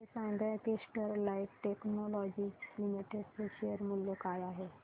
हे सांगा की स्टरलाइट टेक्नोलॉजीज लिमिटेड चे शेअर मूल्य काय आहे